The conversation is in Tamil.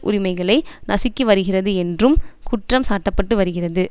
உரிமைகளை நசுக்கிவருகிறது என்றும் குற்றம் சாட்டப்பட்டு வருகிறது